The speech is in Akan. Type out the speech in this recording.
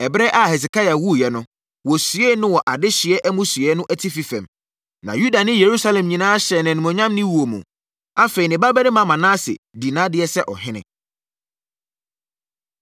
Ɛberɛ a Hesekia wuiɛ no, wɔsiee no wɔ adehyeɛ amusieeɛ no atifi fam, na Yuda ne Yerusalem nyinaa hyɛɛ no animuonyam ne wuo mu. Afei, ne babarima Manase, dii nʼadeɛ sɛ ɔhene.